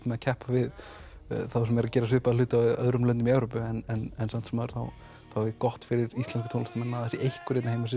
maður keppir við þá sem eru að gera svipaða hluti í öðrum löndum í Evrópu en samt sem áður er gott fyrir íslenska tónlistarmenn að það sé einhver sem